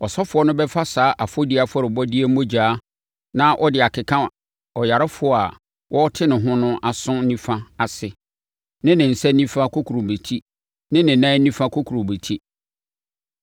Ɔsɔfoɔ no bɛfa saa ɛfɔdie afɔrebɔdeɛ mogya na ɔde akeka ɔyarefoɔ a wɔrete ne ho no aso nifa ase ne ne nsa nifa kokurobetie ne ne nan nifa kokurobetie.